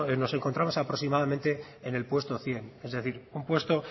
nos encontramos aproximadamente en el puesto cien es decir un puesto